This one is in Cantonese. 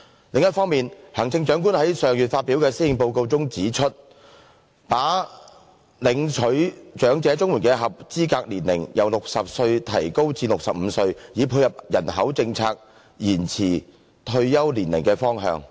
另一方面，行政長官在上月發表的《施政報告》中提出，把領取長者綜援的合資格年齡由60歲提高至65歲，以配合人口政策延遲退休年齡的方向。